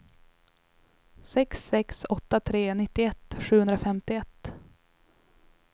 sex sex åtta tre nittioett sjuhundrafemtioett